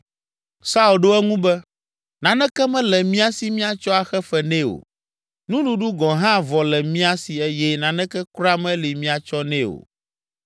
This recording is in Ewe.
Saul ɖo eŋu be, “Naneke mele mía si míatsɔ axe fe nɛ o, nuɖuɖu gɔ̃ hã vɔ le mía si eye naneke kura meli míatsɔ nɛ o.”